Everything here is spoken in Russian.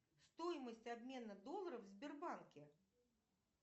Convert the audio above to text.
стоимость обмена долларов в сбербанке